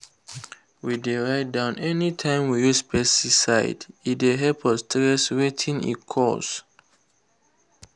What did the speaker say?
we dey write down anytime we use pesticide—e dey help us trace wetin e cause.